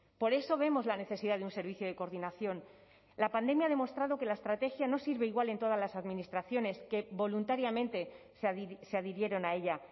por eso vemos la necesidad de un servicio de coordinación la pandemia ha demostrado que la estrategia no sirve igual en todas las administraciones que voluntariamente se adhirieron a ella